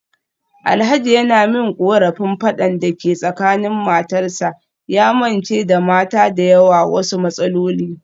Alhaji yana min korafin fadan da ke tsakanin matarsa, ya mance da mata da yawa wasu matsaloli.